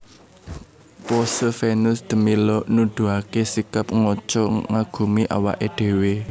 Pose Venus de Milo nuduhaké sikap ngaca ngagumi awaké dhéwé